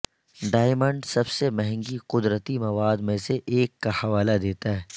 diamond سب سے مہنگی قدرتی مواد میں سے ایک کا حوالہ دیتا ہے